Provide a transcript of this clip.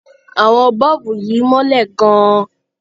Àwọn bọ́ọ̀bù yìí mọ́lẹ̀ gan-an.